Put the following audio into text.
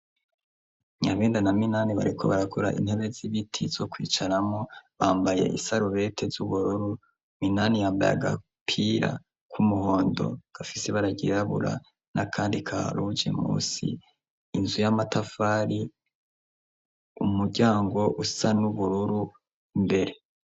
Nyabenda na Minani bariko barakora intebe z'ibiti zo kwicaramwo bambaye isarubeti z'ubururu Minani yambaye agapira kumuhondo gafise ibara ryirabura n'akandi ka ruge munsi inzu y'amatafari, umuryango usa n'ubururu imbere.